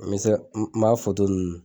N bɛ se ka n m'a ninnu